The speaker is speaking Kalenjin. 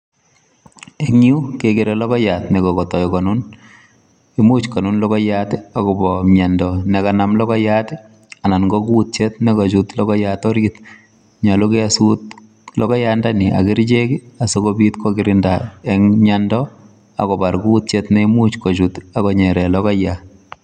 Eng yu kekere logoiyat ne kokotoi konun imuch konun logoiyat akobo miondo ne kanam logoiyat anan ko kuutyet ne kachut logoiyandani orit. Nyolu keesut logoiyandani ak kerichek asikobit kokirinda eng miendo ak kobar kuutyet ne imuch kochut ak konyere logoiyat.